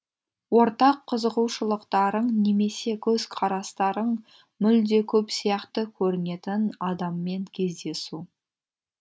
ортақ қызығушылықтарың немесе көзқарастарың мүлде көп сияқты көрінетін адаммен кездесу